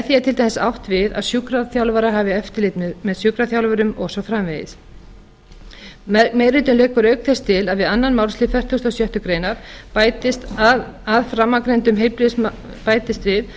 til dæmis átt við að sjúkraþjálfarar hafi eftirlit með sjúkraþjálfurum og svo framvegis meiri hlutinn leggur auk þess til að við aðra málsl fertugasta og sjöttu grein bætist að framangreindum heilbrigðisstarfsmönnum sjúkratryggingastofnunar verði heimilt